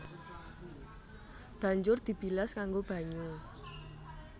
Banjur dibilas nganggo banyu